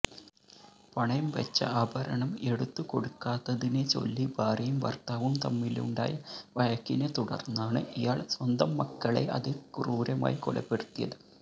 പണയം വച്ച ആഭരണം എടുത്തു കൊടുക്കാത്തതിനെച്ചൊല്ലി ഭാര്യയും ഭർത്താവും തമ്മിലുണ്ടായ വഴക്കിനെത്തുടർന്നാണ് ഇയാൾ സ്വന്തം മക്കളെ അതിക്രൂരമായി കൊലപ്പെടുത്തിയത്